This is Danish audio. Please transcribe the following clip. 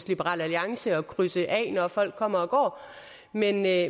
liberal alliance er at krydse af når folk kommer og går men jeg